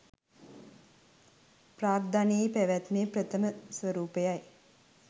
ප්‍රාග්ධනයේ පැවැත්මේ ප්‍රථම ස්වරූපයයි